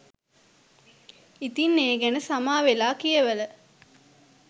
ඉතින් ඒ ගැන සමාවෙලා කියවල